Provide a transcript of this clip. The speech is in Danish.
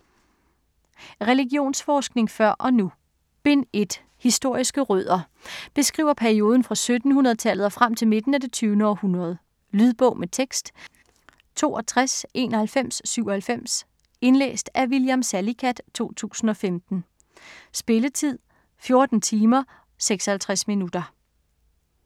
Religionsforskningen før og nu Bind 1. Historiske rødder. Beskriver perioden fra 1700-tallet og frem til midten af det 20. århundrede. Lydbog med tekst 629197 Indlæst af William Salicath, 2015. Spilletid: 14 timer, 56 minutter.